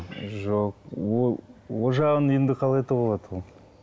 жоқ ол ол жағын енді қалай айтуға болады ол